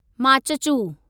Machhu